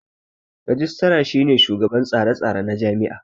Rajistira shine shugaban tsare tsare na jami'a